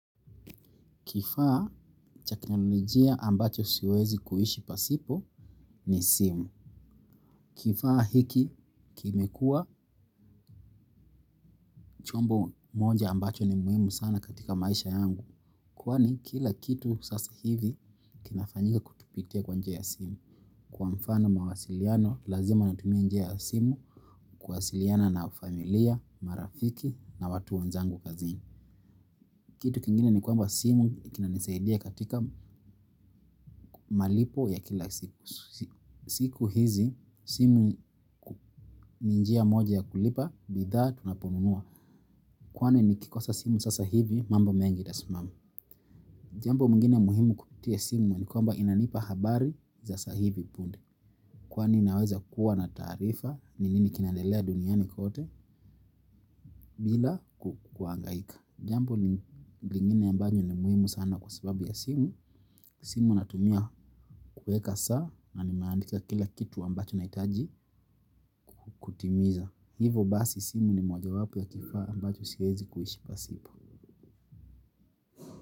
Kifaa cha kiteknoloijia ambacho siwezi kuhishi pasipo ni simu. Kifaa hiki kime kuwa chombo moja ambacho ni muimu sana katika maisha yangu. Kwani kila kitu sasa hivi kinafanyika kukipitia kwa njia ya simu. Kwa mfano mawasiliano, lazima natumia njia ya simu kuwasiliana na familia, marafiki na watu wanzangu kazi. Kitu kingine ni kwamba simu kina nisaidia katika malipo ya kila siku. Siku hizi, simu ni njia moja ya kulipa, bidhaa tunaponunua. Kwani nikikosa simu sasa hivi mambo mengi itasimama. Jambo mwingini ya muhimu kupitia simu ni kwamba inanipa habari za sa hivi punde. Kwane inaweza kuwa na taarifa, ni nini kinaedelea duniani kote, bila kukwangaika. Jambo lingine ambalo ni muhimu sana sababu ya simu simu natumia kueka saa na nimaandika kila kitu ambacho naitaji kutimiza. Hivo basi simu ni moja wapu ya kifaa ambacho silezi kuhishi pasipo.